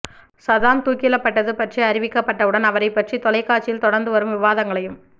Saddam தூக்கிலபட்டது பற்றி அறிவிக்கப் பட்டவுடன் அவரைப் பற்றிய தொலைக்காட்சியில் தொடர்ந்து வரும் விவாதங்களையும்